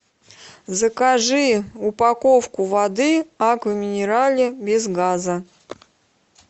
закажи упаковку воды аква минерале без газа